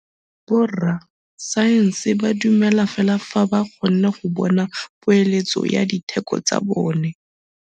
Borra saense ba dumela fela fa ba kgonne go bona poeletsô ya diteko tsa bone.